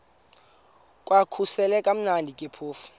kwakusekumnandi ke phofu